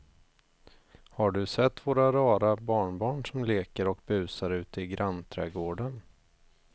Har du sett våra rara barnbarn som leker och busar ute i grannträdgården!